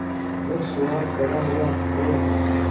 जब सुहास बड़ा हुआ और